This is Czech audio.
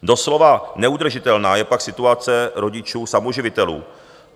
Doslova neudržitelná je pak situace rodičů samoživitelů.